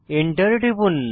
Enter টিপুন